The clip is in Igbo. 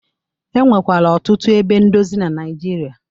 E nwekwara ọtụtu ebe ndozi na Naịjirịa.